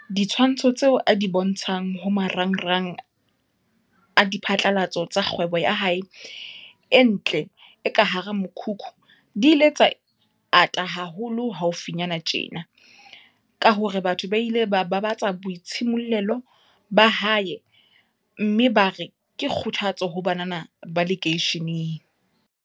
Ditshwantsho tseo a di bontshang ho maranrang a diphatlalatso tsa kgwebo ya hae e ntle e ka hara mokhukhu di ile tsa ata haholo haufinyana tjena, ka hore batho ba ile ba babatsa boitshimollelo ba hae mme bare ke kgothatso ho banana ba lekeisheneng.